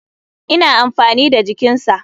Ina amfani da jikinsa.